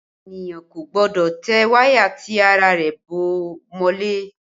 Ènìyàn kò gbọ́dọ̀ tẹ wáyà tí ara rẹ̀ bó mọ́lẹ̀